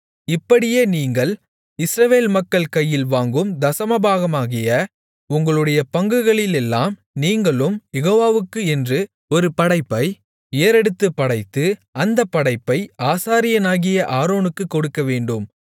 இப்படியே நீங்கள் இஸ்ரவேல் மக்கள் கையில் வாங்கும் தசமபாகமாகிய உங்களுடைய பங்குகளிலெல்லாம் நீங்களும் யெகோவாவுக்கு என்று ஒரு படைப்பை ஏறெடுத்துப் படைத்து அந்தப் படைப்பை ஆசாரியனாகிய ஆரோனுக்குக் கொடுக்கவேண்டும்